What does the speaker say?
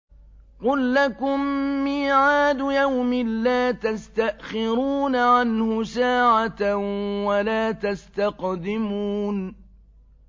قُل لَّكُم مِّيعَادُ يَوْمٍ لَّا تَسْتَأْخِرُونَ عَنْهُ سَاعَةً وَلَا تَسْتَقْدِمُونَ